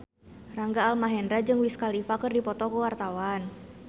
Rangga Almahendra jeung Wiz Khalifa keur dipoto ku wartawan